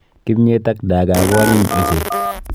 Kimnyet ak dagaa ko anyiny ochei.